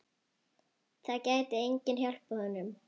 Það gæti enginn hjálpað honum.